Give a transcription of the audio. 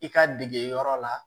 I ka degeyɔrɔ la